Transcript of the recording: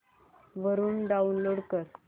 वरून डाऊनलोड कर